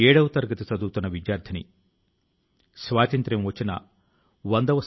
తన లోపాలను ఎలా సామర్థ్యాలుగా మార్చుకున్నారో చెప్పారు